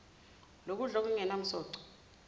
lokudla okungenam soco